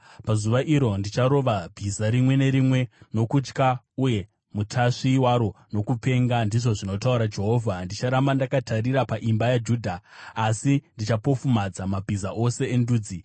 Pazuva iro ndicharova bhiza rimwe nerimwe nokutya uye mutasvi waro nokupenga,” ndizvo zvinotaura Jehovha. “Ndicharamba ndakatarira paimba yaJudha, asi ndichapofumadza mabhiza ose endudzi.